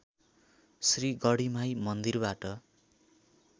श्री गढीमाई मन्दिरबाट